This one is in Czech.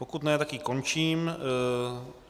Pokud ne, tak ji končím.